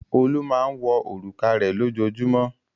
Olú máa ń wọ òrùka rẹ̀ lójoojúmọ́.